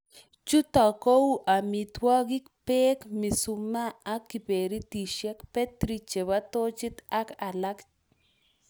Chuto kou:Amitwokik, beek, mishumaa ak kiberitishek ,betri chebo tochit ak alak